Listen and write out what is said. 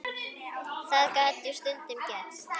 Það gat jú stundum gerst!